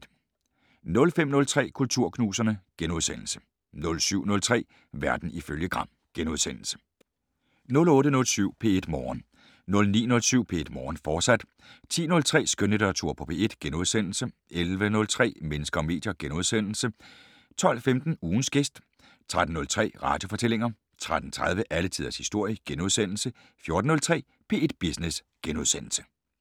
05:03: Kulturknuserne * 07:03: Verden ifølge Gram * 08:07: P1 Morgen 09:07: P1 Morgen, fortsat 10:03: Skønlitteratur på P1 * 11:03: Mennesker og medier * 12:15: Ugens gæst 13:03: Radiofortællinger 13:30: Alle tiders historie * 14:03: P1 Business *